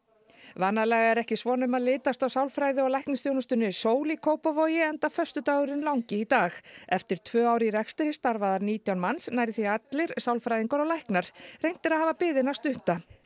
vanalega er ekki svona um að litast hjá sálfræði og læknisþjónustunni Sól í Kópavogi enda föstudagurinn langi í dag eftir tvö ár í rekstri starfa þar nítján manns nærri því allir sálfræðingar og læknar reynt er að hafa biðina stutta